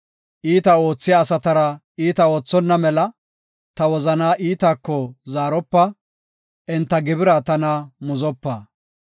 Iita oothiya asatara iita oothonna mela, ta wozanaa iitako zaaropa; enta gibira tana muzopa.